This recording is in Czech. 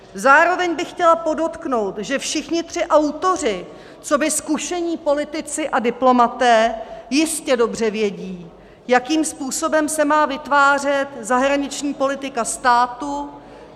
Zároveň bych chtěla podotknout, že všichni tři autoři coby zkušení politici a diplomaté jistě dobře vědí, jakým způsobem se má vytvářet zahraniční politika státu.